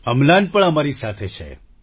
અમ્લાન પણ અમારી સાથે છે